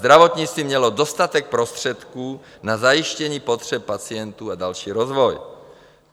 Zdravotnictví mělo dostatek prostředků na zajištění potřeb pacientů a další rozvoj.